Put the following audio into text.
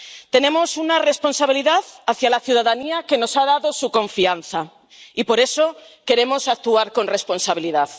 Tenemos una responsabilidad hacia la ciudadanía que nos ha dado su confianza y por eso queremos actuar con responsabilidad.